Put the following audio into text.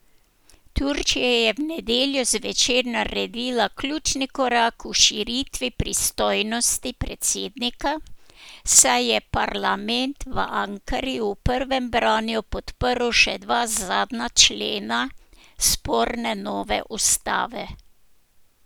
Turčija je v nedeljo zvečer naredila ključni korak k širitvi pristojnosti predsednika, saj je parlament v Ankari v prvem branju podprl še dva zadnja člena sporne nove ustave.